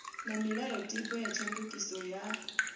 na milayotibe ya tshandukiso ya